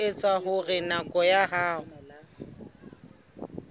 ho etsa hore naha ya